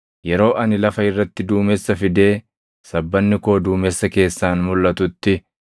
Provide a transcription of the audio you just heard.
Yeroo ani lafa irratti duumessa fidee sabbanni koo duumessa keessaan mulʼatutti,